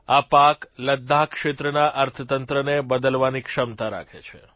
આ પાક લદ્દાખ ક્ષેત્રના અર્થતંત્રને બદલવાની ક્ષમતા રાખે છે